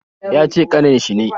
Yace kanin shi ne